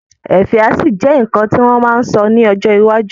Ẹfẹ́ á ṣì jẹ́ nǹkan tí wọ́n ma sọ ní ọjọ́ iwájú